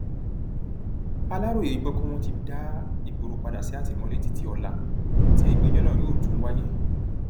aláròye gbọ pé wọn ti dá ìgboro padà sí àtìmọlé títí ọlá tí ìgbẹjọ náà yóò tún wáyé